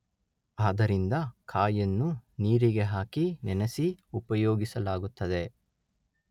ಆದ್ದರಿಂದ ಕಾಯನ್ನು ನೀರಿಗೆ ಹಾಕಿ ನೆನೆಸಿ ಉಪಯೋಗಿಸಲಾಗುತ್ತದೆ